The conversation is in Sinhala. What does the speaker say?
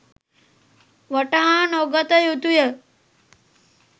වටහානොගත යුතුය.